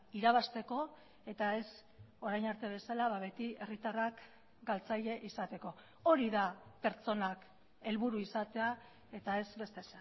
irabazteko eta ez orain arte bezala beti herritarrak galtzaile izateko hori da pertsonak helburu izatea eta ez beste